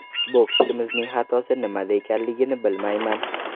Bokschimizning xatosi nimada ekanligini bilmayman.